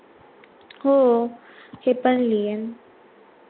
हो हे पण लिहिण